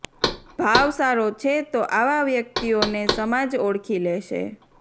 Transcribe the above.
ભાવ સારો છે તો આવા વ્યક્તિઓને સમાજ ઓળખી લેશે